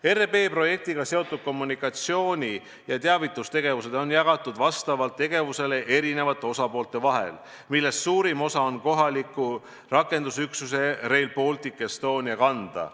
" RB projektiga seotud kommunikatsioon on jagatud vastavalt tegevusele eri osapoolte vahel, millest suurim osa on jäänud kohaliku rakendusüksuse Rail Baltic Estonia kanda.